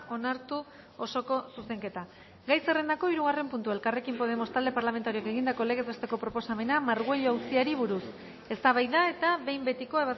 onartu osoko zuzenketa gai zerrendako hirugarren puntua elkarrekin podemos talde parlamentarioak egindako legez besteko proposamena margüello auziari buruz eztabaida eta behin betiko